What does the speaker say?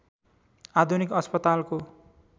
आधुनिक अस्पतालको